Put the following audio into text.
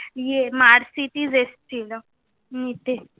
ইয়ে mercedes এসেছিলো, নিতে।